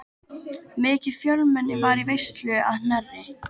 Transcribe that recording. Mikið fjölmenni var í veislunni að Knerri.